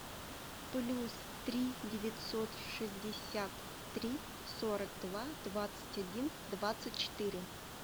плюс три девятьсот шестьдесят три сорок два двадцать один двадцать четыре